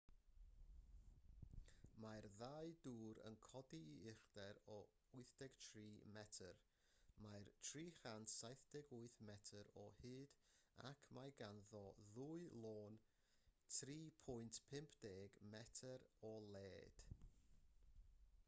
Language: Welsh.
mae'r ddau dŵr yn codi i uchder o 83 metr mae'n 378 metr o hyd ac mae ganddo ddwy lôn 3.50 metr o led